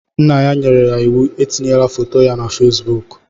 Nna ya nyere ya iwu etinyela foto ya na Facebook.